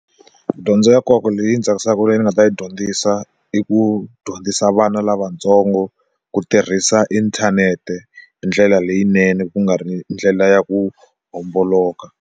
Dyondzo ya nkoka leyi ndzi tsakisaka leyi ni nga ta yi dyondzisa i ku dyondzisa vana lavatsongo ku tirhisa inthanete hindlela leyinene ku nga ri ndlela ya ku homboloka.